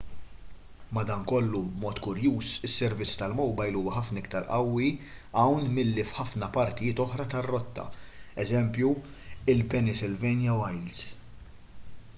madankollu b'mod kurjuż is-servizz tal-mowbajl huwa ħafna iktar qawwi hawn milli f'ħafna partijiet oħra tar-rotta eż il-pennsylvania wilds